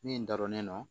Min da donnen don